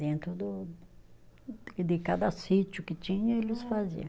Dentro do, de cada sítio que tinha, eles faziam.